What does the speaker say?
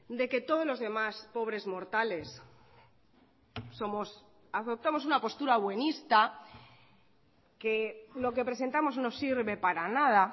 de que todos los demás pobres mortales somos adoptamos una postura buenista que lo que presentamos no sirve para nada